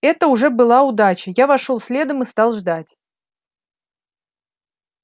это уже была удача я вошёл следом и стал ждать